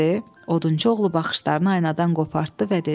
Odunçu oğlu baxışlarını aynadan qopartdı